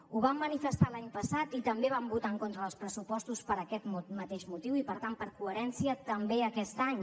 ho vam manifestar l’any passat i també vam votar en contra dels pressupostos per aquest mateix motiu i per tant per coherència també aquest any